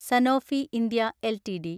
Sanofi India LTD